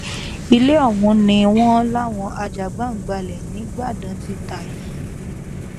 ilé ọ̀hún ni wọ́n láwọn ajàgbàǹgbàlẹ̀ nígbàdàn ti ta yìí